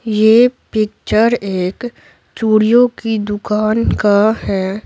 ये पिक्चर एक चूड़ियों की दुकान का है।